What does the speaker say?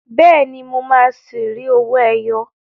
Bẹ́ẹ̀ni, mo máa ṣi rí owó ẹyọ.